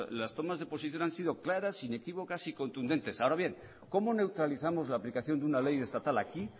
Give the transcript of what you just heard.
las tomas de posición han sido claras inequívocas y contundentes ahora bien cómo neutralizamos la aplicación de una ley estatal aquí